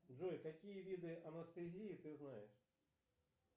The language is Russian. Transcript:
джой какие виды анестезии ты знаешь